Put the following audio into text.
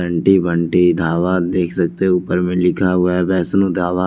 Aunty Bunty dhaba देख सकते है ऊपर में लिखा हुआ है वैष्णो ढाबा।